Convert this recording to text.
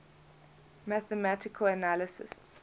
mathematical analysts